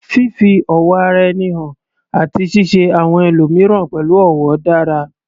Fífi ọ̀wọ̀ ara ẹni hàn àti ṣíṣe àwọn ẹlòmíràn pẹ̀lú ọ̀wọ̀ dára